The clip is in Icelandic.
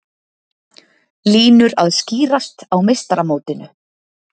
Línur að skýrast á meistaramótinu